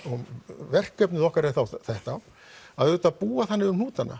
verkefnið okkar er þá þetta að auðvitað búa þannig um hnútana